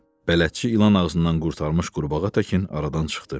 Bələdçi ilan ağzından qurtarmış qurbağa təkin aradan çıxdı.